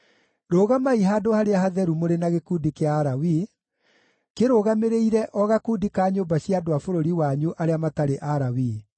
“Rũgamai handũ harĩa hatheru mũrĩ na gĩkundi kĩa Alawii, kĩrũgamĩrĩire o gakundi ka nyũmba cia andũ a bũrũri wanyu arĩa matarĩ Alawii.